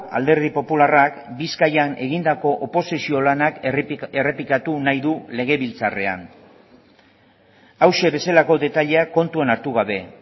alderdi popularrak bizkaian egindako oposizio lanak errepikatu nahi du legebiltzarrean hauxe bezalako detaileak kontuan hartu gabe